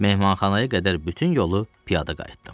Mehmanxanaya qədər bütün yolu piyada qayıtdım.